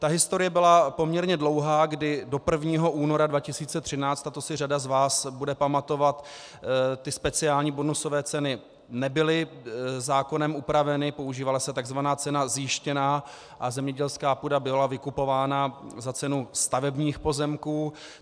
Ta historie byla poměrně dlouhá, kdy do 1. února 2013, to si řada z vás bude pamatovat, ty speciální bonusové ceny nebyly zákonem upraveny, používala se tzv. cena zjištěná a zemědělská půda byla vykupována za cenu stavebních pozemků.